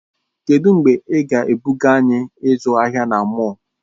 Kedụ mgbe ị ga-ebuga anyị ịzụ ahịa na mọll?